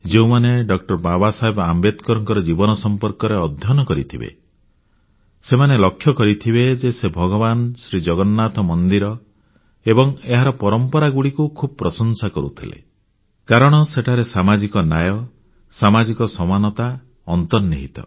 ଯେଉଁମାନେ ଡା ବାବା ସାହେବ ଆମ୍ବେଦକରଙ୍କ ଜୀବନ ସଂପର୍କରେ ଅଧ୍ୟୟନ କରିଥିବେ ସେମାନେ ଲକ୍ଷ୍ୟ କରିଥିବେ ଯେ ସେ ଭଗବାନ ଜଗନ୍ନାଥଙ୍କ ମନ୍ଦିର ଏବଂ ଏହାର ପରମ୍ପରାଗୁଡ଼ିକୁ ଖୁବ୍ ପ୍ରଶଂସା କରୁଥିଲେ କାରଣ ସେଠାରେ ସାମାଜିକ ନ୍ୟାୟ ସାମାଜିକ ସମାନତା ଅନ୍ତର୍ନିହିତ